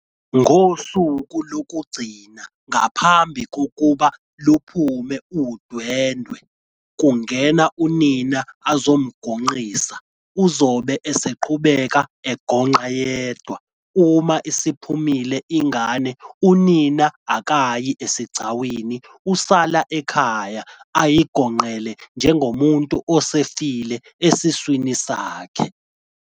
Ngosuku lokugcina ngaphambi kokuba luphume udwendwe kungena unina azomgonqisa uzobe eseqhubeka egonqa yedwa uma isiphumile ingane unina wengane akayi esigcawini usala ekhaya ayigonqele njengomuntu osefile esiswini sakhe.